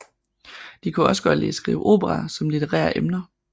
De kunne også godt lide at skrive operaer om litterære emner